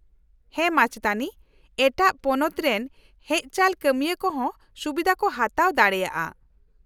-ᱦᱮᱸ, ᱢᱟᱪᱮᱛᱟᱹᱱᱤ, ᱮᱴᱟᱜ ᱯᱚᱱᱚᱛ ᱨᱮᱱ ᱦᱮᱡᱪᱟᱞ ᱠᱟᱹᱢᱤᱭᱟᱹ ᱠᱚᱦᱚᱸ ᱥᱩᱵᱤᱫᱷᱟ ᱠᱚ ᱦᱟᱛᱟᱣ ᱫᱟᱲᱮᱭᱟᱜᱼᱟ ᱾